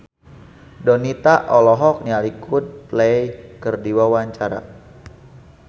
Donita olohok ningali Coldplay keur diwawancara